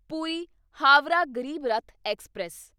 Puri Howrah Garib Rath express